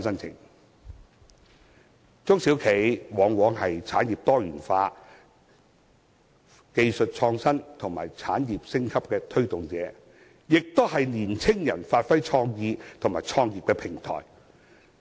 中小企往往是產業多元化、技術創新及產業升級的推動者，亦是讓青年人發揮創意及創業的平台。